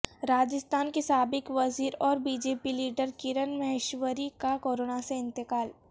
راجستھان کی سابق وزیر اور B J P leader Kiran Maheshwari کا کورونا سے انتقال